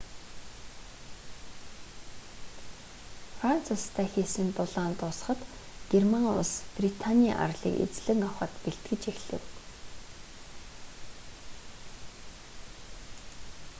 франц улстай хийсэн тулаан дуусахад герман улс британий арлыг эзлэн авахад бэлтгэж эхлэв